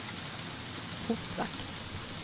portvakt